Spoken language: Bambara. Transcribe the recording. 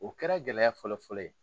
O kɛra gɛlɛya fɔlɔ fɔlɔ ye.